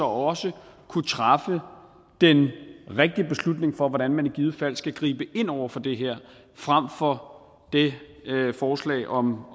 også kunne træffe den rigtige beslutning om hvordan man i givet fald skal gribe ind over for det her frem for det forslag om